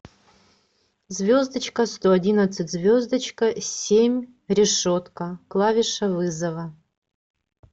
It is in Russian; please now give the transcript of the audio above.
звездочка сто одиннадцать звездочка семь решетка клавиша вызова